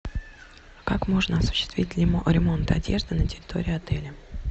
как можно осуществить ремонт одежды на территории отеля